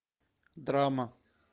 драма